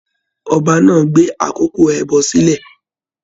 Ọba náà gbé àkókò ẹbọ sílẹ.